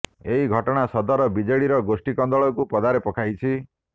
ଏହି ଘଟଣା ସଦର ବିଜେଡିର ଗୋଷ୍ଠୀ କନ୍ଦଳକୁ ପଦାରେ ପକାଇଛି